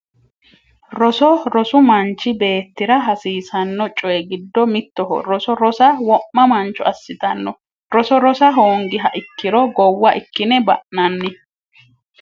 Roso rosu manchi beettira hasiisanno coyi giddo mittoho roso rosa wo'ma mancho assitanno roso rosa hoongiha ikkiro gowwa ikkine ba'nanni